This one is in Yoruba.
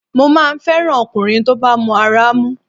Mo máa ń fẹ́ràn ọkùnrin tó bá mọ ara mú